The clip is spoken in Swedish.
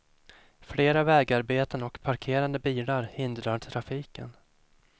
Flera vägarbeten och parkerade bilar hindrar trafiken.